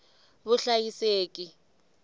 vuhlayiseki